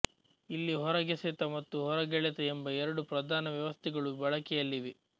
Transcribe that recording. ಇಲ್ಲಿ ಹೊರಗೆಸೆತ ಮತ್ತು ಹೊರಗೆಳೆತ ಎಂಬ ಎರಡು ಪ್ರಧಾನ ವ್ಯವಸ್ಥೆಗಳು ಬಳಕೆಯಲ್ಲಿವೆ